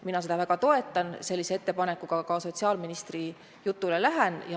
Mina seda väga toetan ja lähen sellise ettepanekuga ka sotsiaalministri jutule.